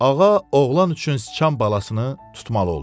Ağa oğlan üçün sıçan balasını tutmalı oldu.